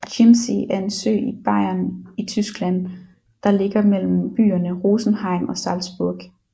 Chiemsee er en sø i Bayern i Tyskland der ligger mellem byerne Rosenheim og Salzburg